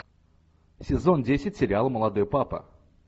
сезон десять сериал молодой папа